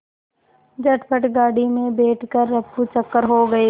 झटपट गाड़ी में बैठ कर ऱफूचक्कर हो गए